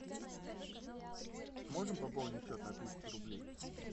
сможем пополнить счет на тысячу рублей